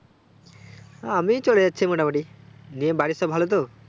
আমি চলেযাচ্ছে মোটামুটি দিয়ে বাড়ির সব ভালো তো